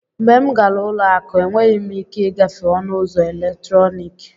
Mgbe m gara ụlọ akụ, enweghị m ike ịgafe ọnụ ụzọ eletrọnịkị.